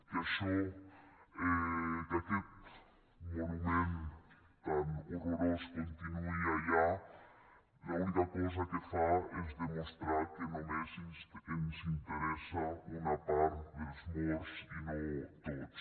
que això que aquest monument tan horrorós continuï allà l’única cosa que fa es demostrar que només ens interessa una part dels morts i no tots